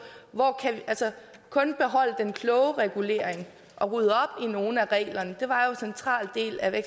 kun at beholde den kloge regulering og rydde op i nogle af reglerne det var jo en central del af